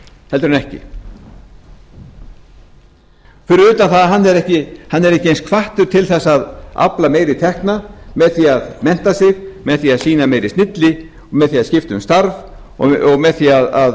en ekki fyrir utan það að hann er ekki hvattur eins til að afla meiri tekna með því að mennta sig með því að sýna meiri snilli með því að skipta um starf og með því